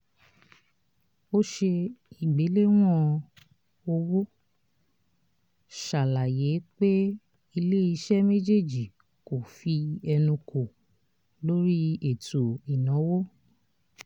ò ṣe ìgbéléwọ̀n owó ṣàlàyé pé ilé iṣẹ́ méjèèjì kó fí ẹnu kò lórí ètò ìnáwó